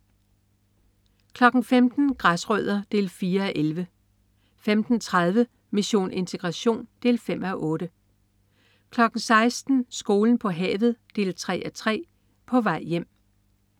15.00 Græsrødder 4:11 15.30 Mission integration 5:8 16.00 Skolen på havet 3:3. På vej hjem